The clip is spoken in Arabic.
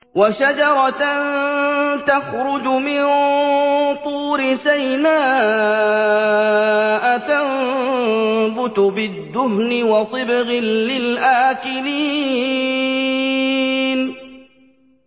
وَشَجَرَةً تَخْرُجُ مِن طُورِ سَيْنَاءَ تَنبُتُ بِالدُّهْنِ وَصِبْغٍ لِّلْآكِلِينَ